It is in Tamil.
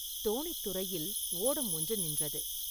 தோணித்துறையில் ஓடம் ஒன்று நின்றது.